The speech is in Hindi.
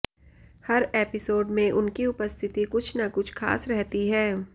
हर ऐपिसोड में उनकी उपस्थिति कुछ न कुछ खास रहती है